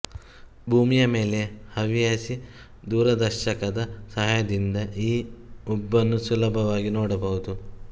ಭೂಮಿಯ ಮೇಲೆ ಹವ್ಯಾಸಿ ದೂರದರ್ಶಕದ ಸಹಾಯದಿಂದ ಈ ಉಬ್ಬನ್ನು ಸುಲಭವಾಗಿ ನೋಡಬಹುದು